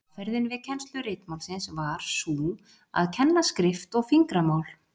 Aðferðin við kennslu ritmálsins var sú að kenna skrift og fingramál.